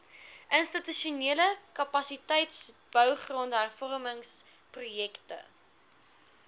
institusionele kapasiteitsbou grondhervormingsprojekte